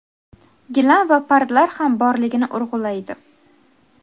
gilam va pardalar ham borligini urg‘ulaydi.